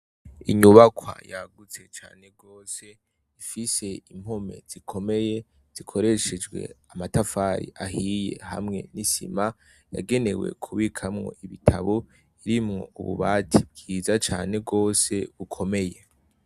Inyubakwa yagutse cane ifise impome zikomeye zikoreshejwe amatafari ahiye hamwe n'isima yagenewe kubikamwo ibitabo biri mu bubati bwiza cane gose bukomeye.